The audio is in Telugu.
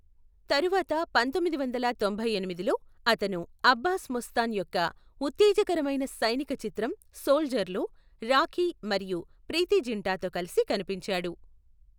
తరువాత పంతొమ్మిది వందల తొంభై ఎనిమిదిలో, అతను అబ్బాస్ ముస్తాన్ యొక్క ఉత్తేజకరమైన సైనిక చిత్రం సోల్జర్ లో రాఖీ మరియు ప్రీతి జింటాతో కలిసి కనిపించాడు.